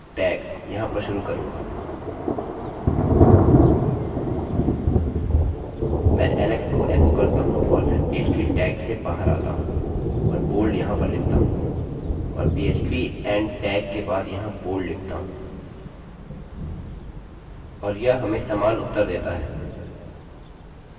मैं एक पीएचपीphpऔर एक टैगtag यहाँ पर शुरू करूँगा मैं alex को एकोechoकरता हूँ और फिर पीएचपीphp टैग्सtags से बाहर आता हूँ और बोल्डbold यहाँ पर लिखता हूँ और phpपीएचपी एंड टैगtag के बाद यहाँ बोल्ड लिखता हूँ